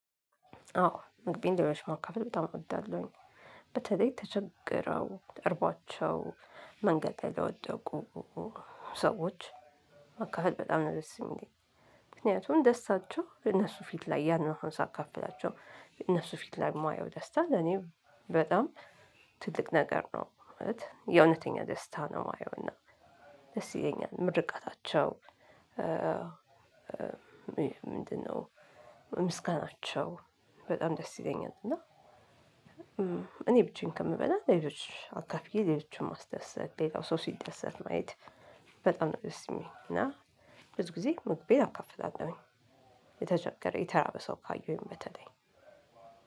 አዎ እንግዲህ ለሌሎች ማካፈል በጣም እወዳለሁኝ በተለይ ተቸግረው እርቧቸው መንገድ ላይ ለወደቁ ሰዎች ማካፈል በጣም ነው ደስ ሚለኝ። ምክንያቱም ደስታቸው እነሱ ፊት ላይ ያንን አሁን ሳካፍላቸው እነሱ ፊት ላይ የማየው ደስታ ለኔም በጣም ትልቅ ነገር ነው ማለት የእውነተኛ ደስታ ነው ማየው። እና ደስ ይለኛል ምርቃታቸው ምንድነው? ምስጋናቸው በጣም ደስ ይለኛል። እና እኔ ብቻዬን ከምበላ ሌሎች አካፍዬ ሌሎቹን ማስደሰት ሌላው ሰው ሲደሰት ማየት። በጣም ነው ደስ ሚለኝ እና ብዙ ጊዜ ምግቤን አካፍላለሁኝ። የተቸገረ የተራበ ሰው ካየሁኝ በተለይ